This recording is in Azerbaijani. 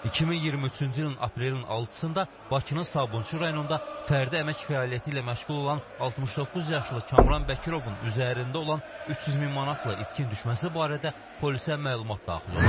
2023-cü ilin aprelin 6-da Bakının Sabunçu rayonunda fərdi əmək fəaliyyəti ilə məşğul olan 69 yaşlı Kamran Bəkirovun üzərində olan 300 min manatla itkin düşməsi barədə polisə məlumat daxil olub.